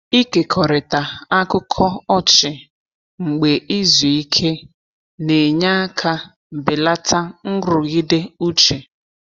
Ịkekọrịta akụkọ ọchị mgbe izu ike na-enye aka belata nrụgide uche.